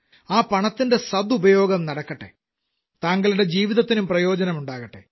ആ പണത്തിന്റെ സദുപയോഗം നടക്കട്ടെ താങ്കളുടെ ജീവിതത്തിനും പ്രയോജനമുണ്ടാകട്ടെ